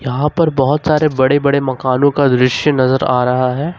यहां पर बहुत सारे बड़े बड़े मकानों का दृश्य नजर आ रहा है।